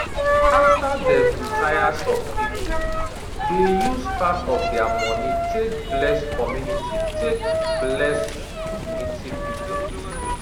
after dem retire some people dey use part of dia money take bless community take bless community people